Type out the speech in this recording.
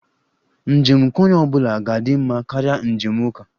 Njem nke onye ọ bụla ga-adị mma karịa njem uka